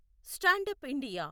stand up India